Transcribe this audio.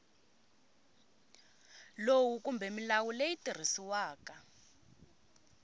lowu kumbe milawu leyi tirhisiwaka